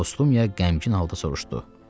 Postumiya qəmgin halda soruşdu: